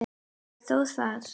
En þó það.